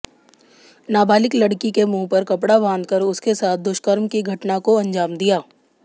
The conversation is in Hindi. नाबालिग लड़की के मुंह पर कपड़ा बांधकर उसके साथ दुष्कर्म की घटना को अंजाम दिया